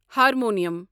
harmonium